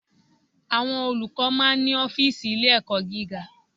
Àwọn Olùkọ́ máa ń ní Ófììsì Ilé ẹ̀kọ́ gíga